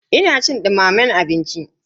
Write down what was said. Ina cin dumamen abinci.